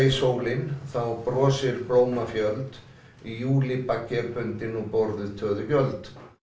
sólin þá brosir í júlí baggi er bundinn og borðuð töðugjöld